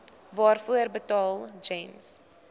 waarvoor betaal gems